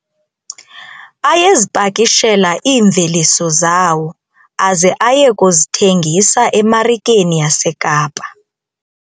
Ayezipakishela iimveliso zawo aze aye kuzithengisa emarikeni yaseKapa.